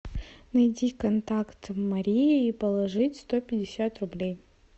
найди контакт марии и положить сто пятьдесят рублей